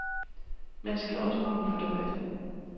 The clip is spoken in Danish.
Man skal også kunne fordøje det.